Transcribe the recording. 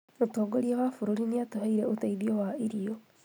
Mũtongoria wa bũrũri nĩatuheire ũteithio wa irio